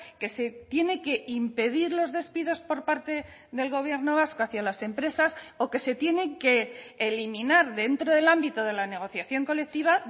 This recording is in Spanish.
que se tiene que impedir los despidos por parte del gobierno vasco hacia las empresas o que se tienen que eliminar dentro del ámbito de la negociación colectiva